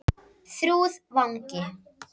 Þrúðvangi